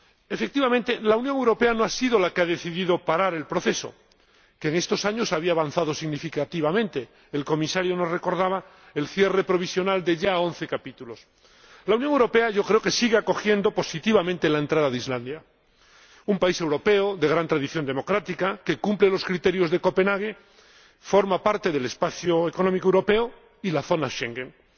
Efectivamente, la Unión Europea no ha sido la que ha decidido parar el proceso, que en estos años había avanzado significativamente ―el Comisario nos recordaba el cierre provisional de once capítulos―. La Unión Europea, yo creo que sigue acogiendo positivamente la entrada de Islandia, un país europeo, de gran tradición democrática, que cumple los criterios de Copenhague y forma parte del Espacio Económico Europeo y de la zona Schengen. Además,